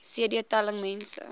cd telling mense